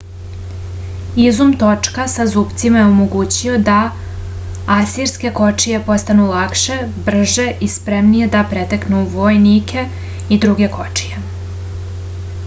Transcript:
izum točka sa zupcima je omogućio da asirske kočije postanu lakše brže i spremnije da preteknu vojnike i druge kočije